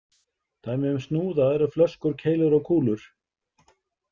Dæmi um snúða eru flöskur, keilur og kúlur.